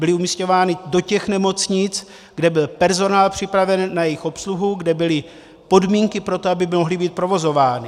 Byly umisťovány do těch nemocnic, kde byl personál připraven na jejich obsluhu, kde byly podmínky pro to, aby mohly být provozovány.